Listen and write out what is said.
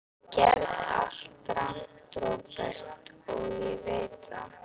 Ég gerði allt rangt, Róbert, og ég veit það.